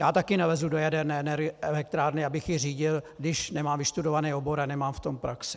Já taky nelezu do jaderné elektrárny, abych ji řídil, když nemám vystudovaný obor a nemám v tom praxi.